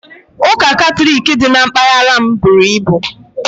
Ụka Katọlik dị na mpaghara m buru ibu